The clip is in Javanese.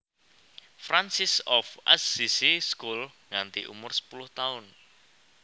Francis of Assisi School nganti umur sepuluh taun